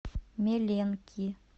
меленки